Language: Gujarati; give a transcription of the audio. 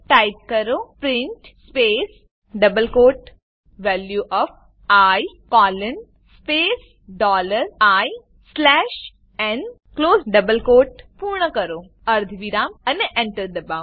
ટાઈપ કરો print space double quote value of i colon space dollar i slash n close double quote પૂર્ણ કરો અર્ધવિરામ અને Enter દબાવો